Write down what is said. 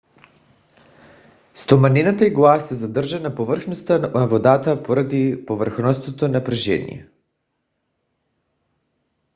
стоманената игла се задържа на повърхността на водата поради повърхностното напрежение